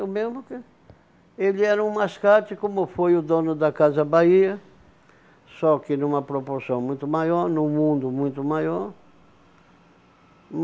É o mesmo que ele era um mascate, como foi o dono da Casa Bahia, só que numa proporção muito maior, num mundo muito maior.